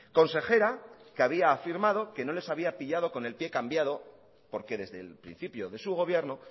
consejera que había afirmado que no les había pillado con el pie cambiado porque desde el principio de su gobierno